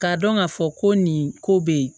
K'a dɔn k'a fɔ ko nin ko bɛ ye